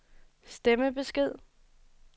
stemmebesked